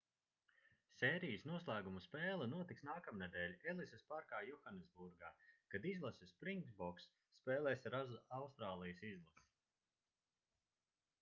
sērijas noslēguma spēle notiks nākamnedēļ elisas parkā johannesburgā kad izlase springboks spēlēs ar austrālijas izlasi